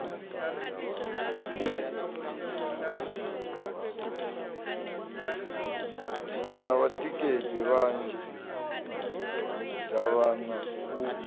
na vhatikedzi vhanzhi davhana u